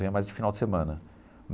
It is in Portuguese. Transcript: Ia mais de final de semana.